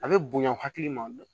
A bɛ bonya hakili ma